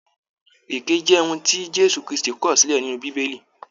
Èké jẹ ohùn ti Jésù kristi kọọ̀ silẹ nínú bíbélì.